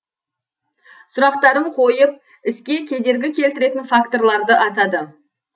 сұрақтарын қойып іске кедергі келтіретін факторларды атады